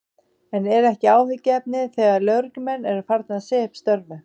En er ekki áhyggjuefni þegar lögreglumenn eru farnir að segja upp störfum?